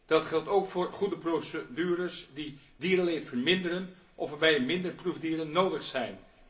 Dat geldt ook voor goede procedures die dierenleed verminderen of waarbij minder proefdieren nodig zijn.